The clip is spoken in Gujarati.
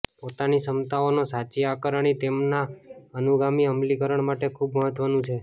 પોતાની ક્ષમતાઓનો સાચી આકારણી તેમના અનુગામી અમલીકરણ માટે ખૂબ મહત્વનું છે